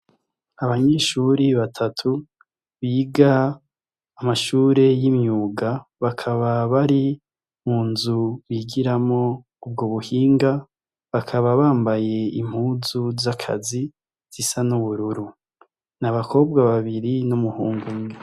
Abanyeshure batatu biga amashure y' imyuga bakaba bari munzu bigiramwo ubwo buhinga bakaba bambaye impuzu z' akazi zisa n' ubururu ni abakobwa babiri n' umuhungu umwe.